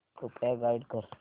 कृपया गाईड कर